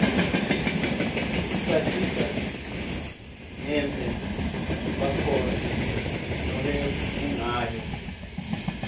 isatisa ngenbze bakhosi lobebungayo